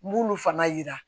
N b'olu fana yira